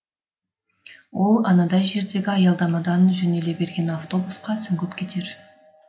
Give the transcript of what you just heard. ол анадай жердегі аялдамадан жөнеле берген автобусқа сүңгіп кетер